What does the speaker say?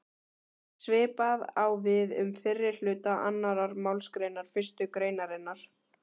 Svipað á við um fyrri hluta annarrar málsgreinar fyrstu greinarinnar.